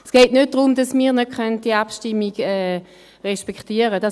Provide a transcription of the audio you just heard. Es geht nicht darum, dass wir die Abstimmung nicht respektieren können.